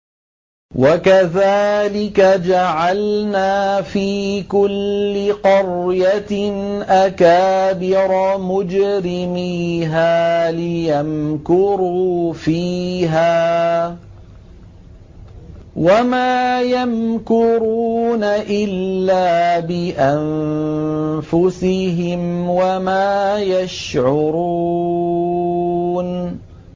وَكَذَٰلِكَ جَعَلْنَا فِي كُلِّ قَرْيَةٍ أَكَابِرَ مُجْرِمِيهَا لِيَمْكُرُوا فِيهَا ۖ وَمَا يَمْكُرُونَ إِلَّا بِأَنفُسِهِمْ وَمَا يَشْعُرُونَ